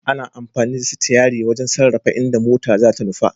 Ana amfani da sitiyari wajen sarrafa inda mota zata nufa.